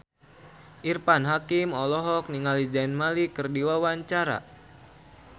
Irfan Hakim olohok ningali Zayn Malik keur diwawancara